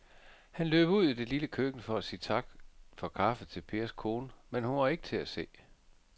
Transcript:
Han løb ud i det lille køkken for at sige tak for kaffe til Pers kone, men hun var ikke til at se.